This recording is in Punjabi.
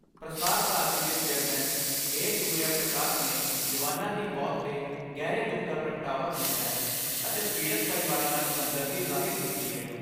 ਪ੍ਰਸਾਰ ਭਾਰਤੀ ਦੇ ਚੇਅਰਮੈਨ ਏ ਸੂਰਿਆ ਪ੍ਰਕਾਸ਼ ਨੇ ਜਵਾਨਾਂ ਦੀ ਮੌਤ ਤੇ ਗਹਿਰੇ ਦੁੱਖ ਦਾ ਪ੍ਰਗਟਾਵਾ ਕੀਤੈ ਅਤੇ ਪੀੜਤ ਪਰਿਵਾਰਾਂ ਨਾਲ ਹਮਦਰਦੀ ਜ਼ਾਹਿਰ ਕੀਤੀ ਏ।